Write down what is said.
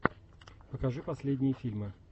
покажи последние фильмы